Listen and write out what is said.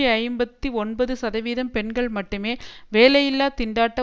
ஐம்பத்தி ஒன்பதுசதவீதம் பெண்கள் மட்டுமே வேலையில்லா திண்டாட்ட